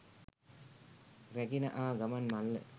රැගෙන ආ ගමන් මල්ල